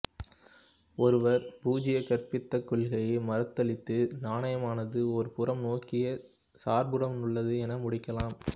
ஒருவர் பூஜ்ய கற்பிதக் கொள்கையை மறுத்தலித்து நாணயமானது ஒரு புறம் நோக்கியச் சார்புடனுள்ளது என முடிக்கலாம்